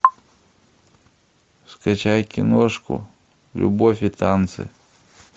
скачай киношку любовь и танцы